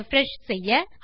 refresh செய்ய